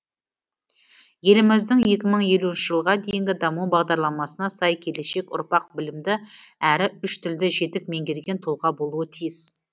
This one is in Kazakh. еліміздің екі мың елуінші жылға дейінгі даму бағдарламасына сай келешек ұрпақ білімді әрі үш тілді жетік меңгерген тұлға болуы тиіс